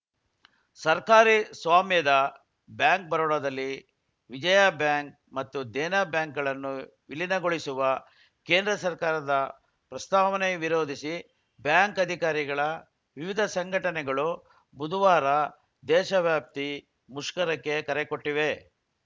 ಸರ್ಕಾರಿ ಸ್ವಾಮ್ಯದ ಬ್ಯಾಂಕ್‌ ಬರೋಡಾದಲ್ಲಿ ವಿಜಯಾ ಬ್ಯಾಂಕ್‌ ಮತ್ತು ದೇನಾ ಬ್ಯಾಂಕ್‌ಗಳನ್ನು ವಿಲೀನಗೊಳಿಸುವ ಕೇಂದ್ರ ಸರ್ಕಾರದ ಪ್ರಸ್ತಾವನೆ ವಿರೋಧಿಸಿ ಬ್ಯಾಂಕ್‌ ಅಧಿಕಾರಿಗಳ ವಿವಿಧ ಸಂಘಟನೆಗಳು ಬುಧವಾರ ದೇಶವ್ಯಾಪ್ತಿ ಮುಷ್ಕರಕ್ಕೆ ಕರೆಕೊಟ್ಟಿವೆ